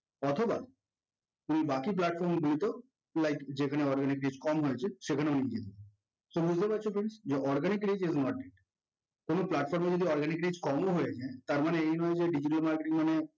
অথবা তুমি বাকি platform গুলোতেও to like যেখানে organic reach কম হয়েছে সেখানেও নিয়ে যেতে পারো so মূলকথা হচ্ছে friends যে organically যে কোনো platform এ যদি organic reach কম ও হয়ে যায় তার মানে এই নয় যে digital marketing মানে